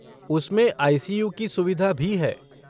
उसमें आई.सी.यू. की सुविधा भी है।